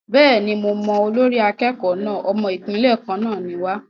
Bẹ́ẹ̀ni, mo mọ olórí akẹ́kọ̀ọ́ náà. Ọmọ Ìpínlẹ̀ kan náà ni wa.